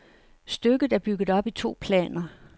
Stykket er bygget op i to planer.